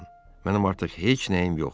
Mənim artıq heç nəyim yoxdur.